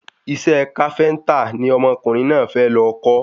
Isẹ́ káféntà ni ọmọkùnrin náà fẹ́ lọ kọ́